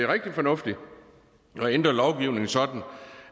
rigtig fornuftigt at ændre lovgivningen sådan